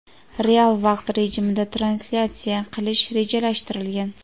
real vaqt rejimida translyatsiya qilish rejalashtirilgan.